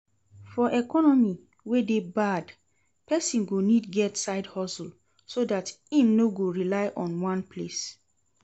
For economy wey de bad persin go need get side hustle so that im no go rely on one place